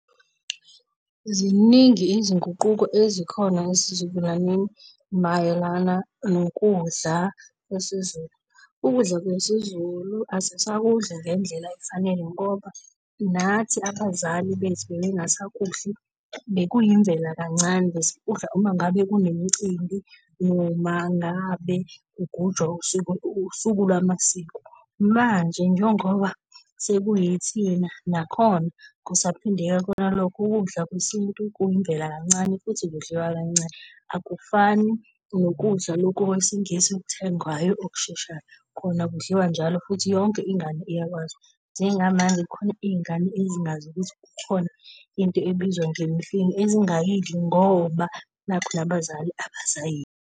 Ziningi izinguquko ezikhona esizukulwaneni mayelana nokudla kwe siZulu. Ukudla kwe siZulu asisakudli ngendlela efanele ngoba nathi abazali bethu bebe ngasakudli, bekuyimvela kancane, besikudla uma ngabe kunemicimbi noma ngabe kugujwa usuku usuku lwamasiko, manje njengoba seku yithina nakhona kusaphindeka kona lokho. Ukudla kwesintu kuyimvela kancane futhi kudliwa kancane, akufani nokudla lokhu kwesingisi okuthengwayo okusheshayo, kona kudliwa njalo futhi yonke ingane iyakwazi. Njenga manje ukhona izingane ezingazi ukuthi kukhona into ebizwa ngemfino, ezingayidli ngoba nakhu nabazali abasayidli.